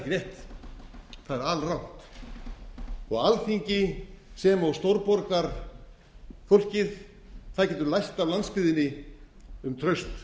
ekki rétt það er alrangt alþingi sem og stórborgarfólkið getur lært af landsbyggðinni um traust